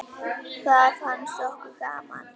Það fannst okkur gaman.